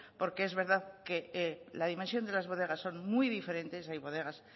porque es verdad que la dimensión de las bodegas son muy diferentes hay bodegas